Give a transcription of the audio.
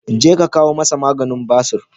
Jeka ka kawo masa maganin basur.